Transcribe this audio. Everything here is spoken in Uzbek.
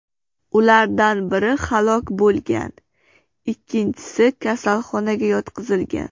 Ulardan biri halok bo‘lgan, ikkinchisi kasalxonaga yotqizilgan.